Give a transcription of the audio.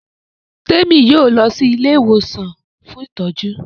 Temi yóò lọ sì Ilé ìwòsàn fún ìtọjú.